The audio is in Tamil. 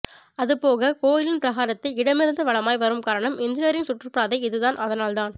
அது போக கோயிலின் பிரகாரத்தை இடமிருந்து வலமாய் வரும் காரணம் எனர்ஜியின் சுற்று பாதை இது தான் அதனால் தான்